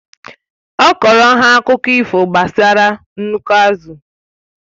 Ọ kọrọ ha akụkụ ifo gbasara nnukwu azụ